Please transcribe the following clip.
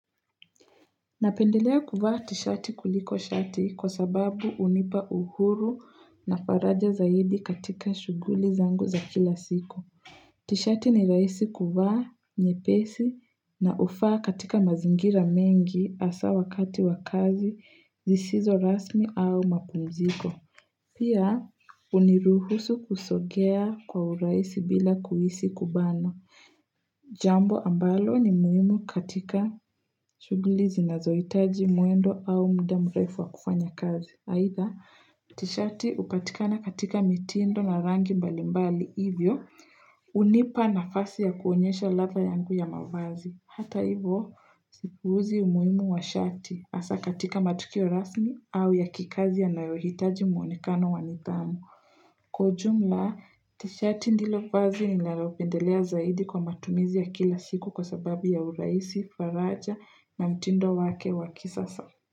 Napendelea kuvaa tishati kuliko shati kwa sababu unipa uhuru na faraja zaidi katika shuguli zangu za kila siku. Tishati ni raisi kuvaa nye pesi na ufaa katika mazingira mengi asa wakati wakazi zisizo rasmi au mapumziko. Pia uniruhusu kusogea kwa uraisi bila kuisi kubanwa Jambo ambalo ni muhimu katika shugulizi na zoitaji mwendo au muda mrefu wa kufanya kazi. Haitha tishati upatika na katika mitindo na rangi mbali mbali hivyo unipa na fasi ya kuonyesha ladha yangu ya mavazi. Hata hivyo sipuuzi umuhimu wa shati asa katika matukio rasmi au ya kikazi ya nayohitaji mwonekano wanidhamu. Kwa ujumla, tishati ndilo vazi ni nalopendelea zaidi kwa matumizi ya kila siku kwa sababu ya uraisi, faraja na mtindo wake waki sasa.